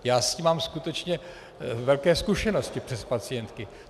Já s tím mám skutečně velké zkušenosti přes pacientky.